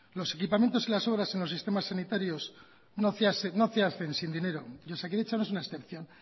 los equipamientos y las obras en los sistemas sanitarios no se hacen sin dinero y osakidetza no es una excepción